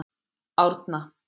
Árna